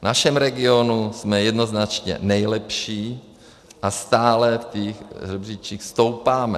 V našem regionu jsme jednoznačně nejlepší a stále v těch žebříčcích stoupáme.